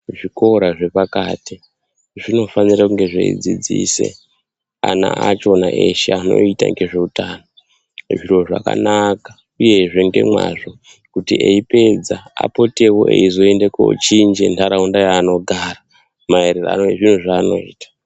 Zvikora zvepakati zvinofanire kunge zveidzidzise ana achona eshe anoita ngezveutano zviro zvakanaka uyezve ngemwazvo kuti eipedza apotewo eizoende kochinje ntaraunda yaanogara maererano nezviro zvaanoita.